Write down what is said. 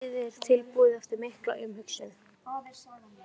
Liðið er tilbúið eftir mikla umhugsun.